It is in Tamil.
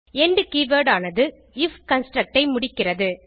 எண்ட் கீவர்ட் ஆனது ஐஎஃப் கன்ஸ்ட்ரக்ட் ஐ முடிக்கிறது